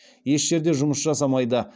еш жерде жұмыс жасамайды